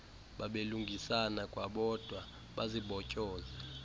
babelungisana kwabodwa bazibotyoze